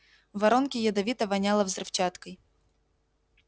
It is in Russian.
в воронке ядовито воняло взрывчаткой